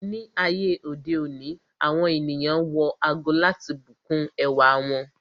Ni ayé òde òní, àwọn ènìyàn wọ ago láti bùkún ẹwà wọn.